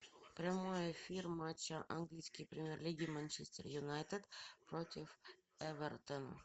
прямой эфир матча английской премьер лиги манчестер юнайтед против эвертон